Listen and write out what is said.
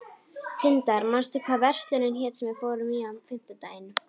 Tindar, manstu hvað verslunin hét sem við fórum í á fimmtudaginn?